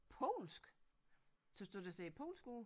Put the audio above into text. Polsk synes du det ser polsk ud